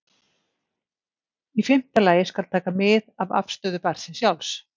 Í fimmta lagi skal taka mið af afstöðu barnsins sjálfs.